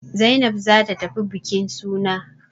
Zainab za ta tafi bukin suna.